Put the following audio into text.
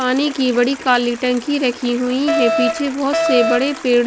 पानी की बड़ी काली टंकी रखी हुई है पीछे बहुत से बड़े पेड़ --